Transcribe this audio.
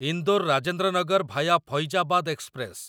Indore Rajendra Nagar via Faizabad express